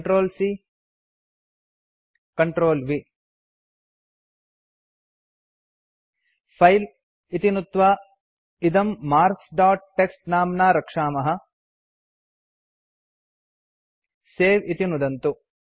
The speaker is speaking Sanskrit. Ctrl C Ctrl V file इति नुत्त्वा इदम् मार्क्स् दोत् टीएक्सटी नाम्ना रक्षामः सवे इति नुदन्तु